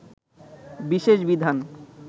বিশেষ বিধান